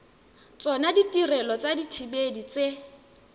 tsona ditirelo tsa dithibedi tse